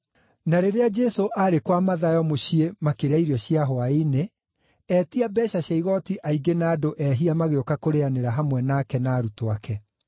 Na rĩrĩa Jesũ aarĩ kwa Mathayo mũciĩ makĩrĩa irio cia hwaĩ-inĩ, etia mbeeca cia igooti aingĩ na andũ ehia magĩũka kũrĩanĩra hamwe nake na arutwo ake.